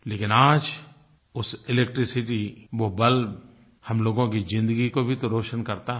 लेकिन आज उस इलेक्ट्रिसिटी वो बल्ब हम लोगों की ज़िंदगी को भी तो रोशन करता है